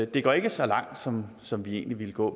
det går ikke så langt som som vi egentlig ville gå